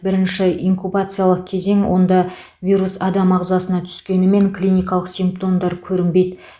бірінші инкубациялық кезең онда вирус адам ағзасына түскенімен клиникалық симптомдар көрінбейді